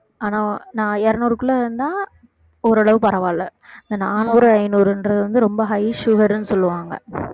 ஆனா நா~ இருநூறுக்குள்ள இருந்தா ஓரளவு பரவாயில்லை இந்த நானூறு ஐநூறுன்றது வந்து ரொம்ப high sugar ன்னு சொல்லுவாங்க